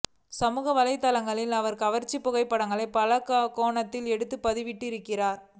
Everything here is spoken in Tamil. சமூகவலைதளங்களில் அவர் கவர்ச்சி புகைப்படங்கள் பல கோணத்தில் எடுத்து பதிவிட்டு வருகிறார்